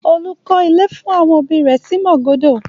Olú klọ́ ilé fún àwọn òbí rẹ̀ sí Màgódò.